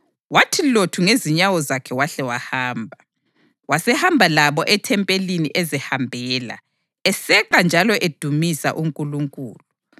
Wathi lothu ngezinyawo zakhe wahle wahamba. Wasehamba labo ethempelini, ezihambela, eseqa njalo edumisa uNkulunkulu.